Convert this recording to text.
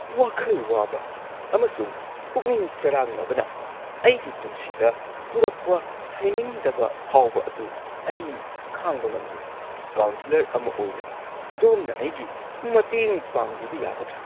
ꯋꯥꯈꯜ ꯋꯥꯕ ꯑꯃꯁꯨꯡ ꯄꯨꯛꯅꯤꯡ ꯆꯔꯥꯡꯅꯕꯅ ꯑꯩꯒꯤ ꯄꯨꯟꯁꯤꯗ ꯄꯨꯔꯛꯄ ꯍꯩꯅꯤꯡꯗꯕ ꯐꯥꯎꯕ ꯑꯗꯨ ꯑꯩ ꯈꯥꯡꯕ ꯉꯝꯗꯦ꯫ ꯀꯥꯎꯟꯁꯦꯂꯔ ꯑꯃ ꯑꯣꯏꯅ, ꯑꯗꯣꯝꯅ ꯑꯩꯒꯤ ꯃꯇꯦꯡ ꯄꯥꯡꯕꯤꯕ ꯌꯥꯒꯗ꯭ꯔꯥ?